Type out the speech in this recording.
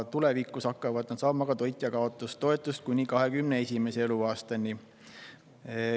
Tulevikus hakkavad nad saama ka toitjakaotustoetust kuni 21. eluaastani.